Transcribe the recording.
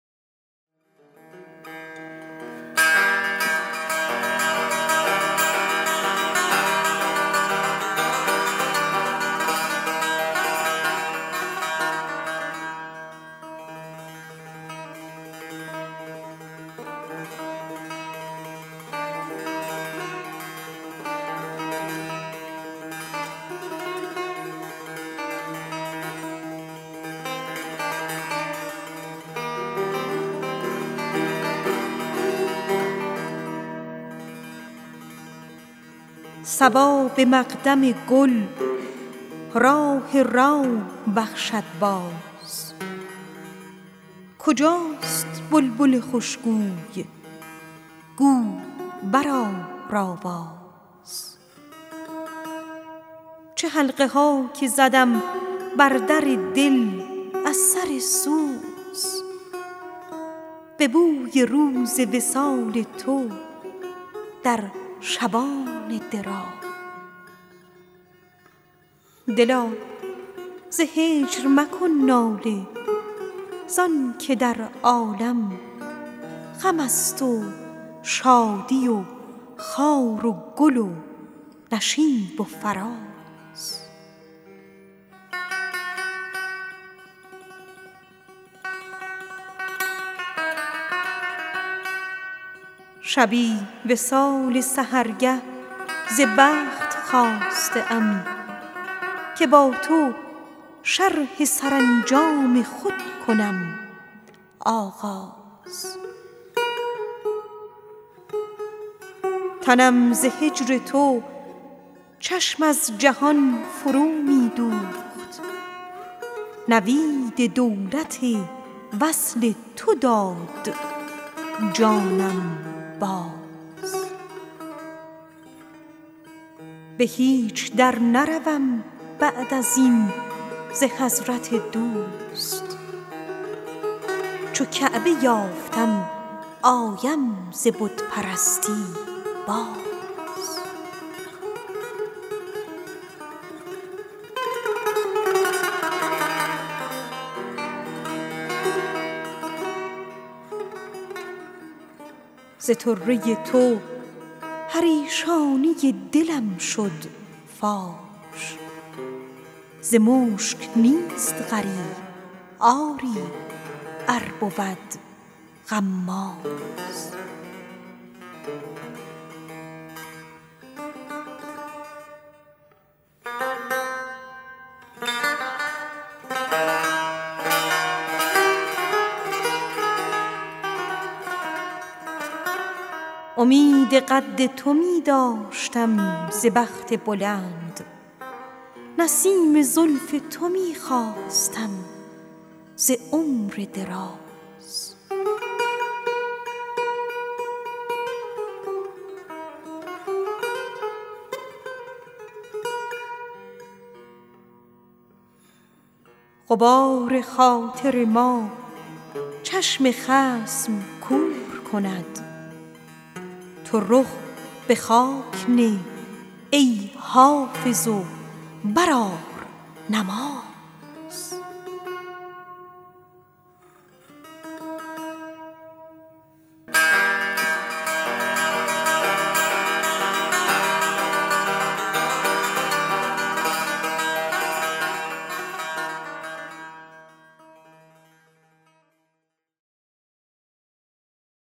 صبا به مقدم گل راح روح بخشد باز کجاست بلبل خوشگوی گو برآر آواز چه حلقه ها که زدم بر در دل از سر سوز به بوی روز وصال تو در شبان دراز دلا ز هجر مکن ناله زان که در عالم غم است و شادی و خار و گل و نشیب و فراز شبی وصال سحرگه ز بخت خواسته ام که با تو شرح سرانجام خود کنم آغاز به هیچ در نروم بعد از این ز حضرت دوست چو کعبه یافتم آیم ز بت پرستی باز ز طره تو پریشانی دلم شد فاش ز مشک نیست غریب آری ار بود غماز هزار دیده به روی تو ناظرند و تو خود نظر به روی کسی بر نمی کنی از ناز امید قد تو می داشتم ز بخت بلند نسیم زلف تو می خواستم ز عمر دراز غبار خاطر ما چشم خصم کور کند تو رخ به خاک نه ای حافظ و بر آر نماز